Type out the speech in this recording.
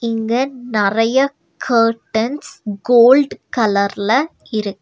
இங்க நெறைய curtains gold கலர்ல இருக்.